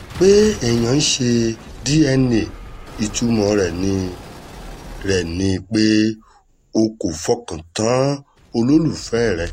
pé èèyàn ń ṣe dna ìtumọ̀ rẹ̀ ni rẹ̀ ni pé o kò fọkàn tán olólùfẹ́ rẹ